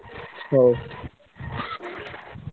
ହଉ